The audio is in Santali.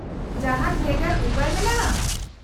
-ᱡᱟᱦᱟᱸᱱ ᱵᱷᱮᱜᱟᱨ ᱩᱯᱟᱹᱭ ᱢᱮᱱᱟᱜᱼᱟ ?